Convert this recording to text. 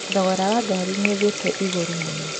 Thogora wa ngari nĩũthiĩte igũrũ mũno